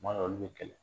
Kuma dɔw olu bɛ kɛlɛ